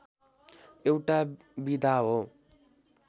एउटा विधा हो